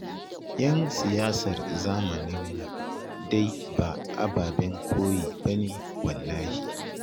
Yan siyasar zamanin nan dai ba ababen koyi ba ne wallahi